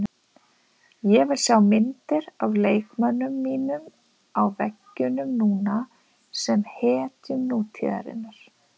Ég vil sjá myndir af leikmönnunum mínum á veggjunum núna, sem hetjum nútíðarinnar.